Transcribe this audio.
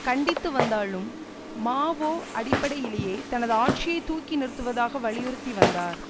கண்டித்து வந்தாலும் மாவோ அடிப்படையிலேயே தனது ஆட்சியை தூக்கி நிறுத்துவதாக வலியுறுத்தி வந்தார்